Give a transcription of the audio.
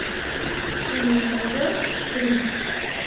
ты мне найдешь крик